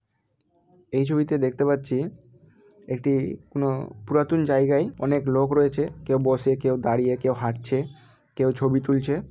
এই ছবি তে দেখতে পাচ্ছি একটি কোন পুরাতন জায়গায় অনেক লোক রয়েছে। কেউ বসে কেউ দাড়িয়ে কেউ হাটছে। কেউ ছবি তুলছে।